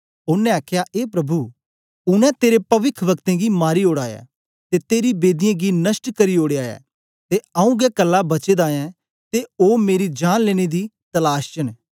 ओनें आख्या ए प्रभु उनै तेरे पविखवक्तें गी मारी ओड़ा ऐ ते तेरी बेदियें गी नष्ट करी ओडेया ऐ ते आऊँ गै कल्ला बचे दा ऐं ते ओ मेरी जान लेने दी तलाश च न